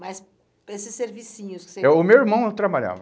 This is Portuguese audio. Mas para esses servicinhos que você... É, o meu irmão não trabalhava.